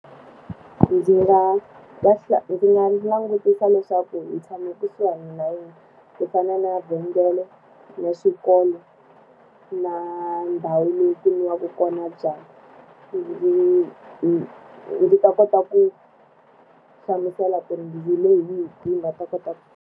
Ndzi nga ndzi nga langutisa leswaku hi tshama kusuhi na yini, ku fana na vhengele, na xikolo, na ndhawu leyi ku nwiwaka kona byalwa. Ndzi ndzi ta kota ku hlamusela ku ri ndzi le hi hi kwini va ta kota ku.